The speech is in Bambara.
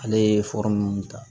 Ale ye ninnu ta